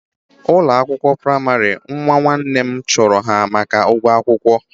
Ụlọakwụkwọ praịmarị nnwa nwanne m chụrụ ha maka ụgwọ akwụkwọ